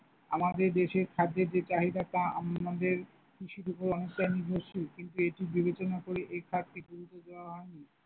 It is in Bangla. আমাদের দেশের খাদ্যের যে চাহিদাটা আমাদের কৃষির উপর অনেকটাই নির্ভরশীল কিন্তু এইসব বিবেচনা করে এই ঘাটতির গুরুত্ব দেওয়া হইনি।